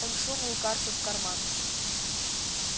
он сунул карту в карман